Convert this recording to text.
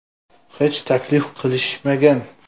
Hech taklif qilishmagan.